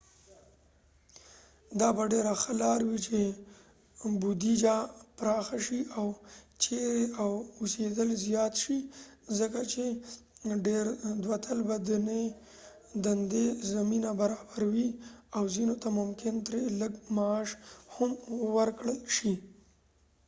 دا به ډیره ښه لار وي چې بودیجه پراخه شي او چیرې اوسیدل زیات شي ځکه چې ډیر دواطلبه دندې زمینه برابروي او ځینو ته ممکن ترې لږ معاش هم ورکړل شي